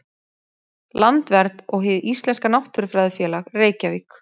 Landvernd og Hið íslenska náttúrufræðifélag, Reykjavík.